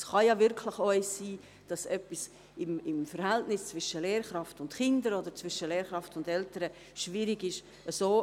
Es ist durchaus möglich, dass etwas im Verhältnis zwischen Lehrkraft und Kind oder zwischen Lehrkraft und Eltern schwierig ist.